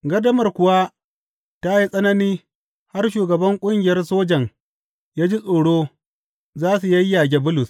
Gardamar kuwa ta yi tsanani har shugaban ƙungiyar sojan ya ji tsoro za su yayyage Bulus.